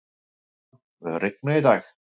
Emilíana, mun rigna í dag?